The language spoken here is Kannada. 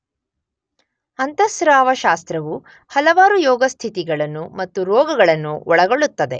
ಅಂತಃಸ್ರಾವ ಶಾಸ್ತ್ರವು ಹಲವಾರು ರೋಗಸ್ಥಿತಿಗಳನ್ನು ಮತ್ತು ರೋಗಗಳನ್ನು ಒಳಗೊಳ್ಳುತ್ತದೆ